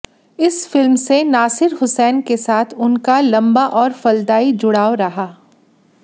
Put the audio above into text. इस फिल्म से नासिर हुसैन के साथ उनका लंबा और फलदायी जुड़ाव रहा